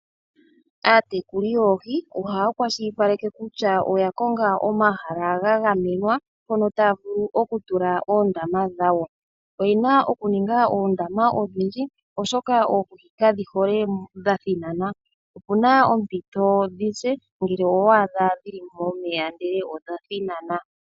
Aatekuli yoohi ohaya kwashilipaleke kutya oya konga omahala ga gamenwa mpono taya vulu okutula oondama dhawo. Oyena okuninga oondama odhindji oshoka oohi kadhihole dhathinana, opuna ompito dhise ngele owa adha dhili momeya ndele odhathinana.